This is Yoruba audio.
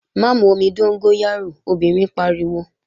Má mu omi dóngóyárò, obìnrin pariwo!